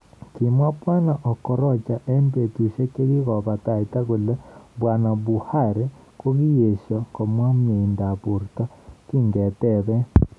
Kimwa Bwana Okorocha en betushiek chegigobataita kole Bwana Buhari kogiyesho komwa mweindoab borto kingeteben.